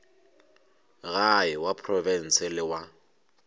gae wa profense le wa